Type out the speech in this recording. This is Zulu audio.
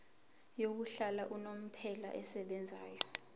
yokuhlala unomphela esebenzayo